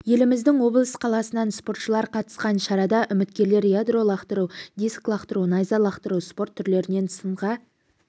еліміздің облыс қаласынан спортшылар қатысқан шарада үміткерлер ядро лақтыру диск лақтыру найза лақтыру спорт түрлерінен сынға